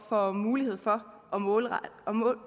får mulighed for at målrette